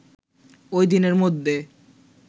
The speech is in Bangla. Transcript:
ওইদিনের মধ্যে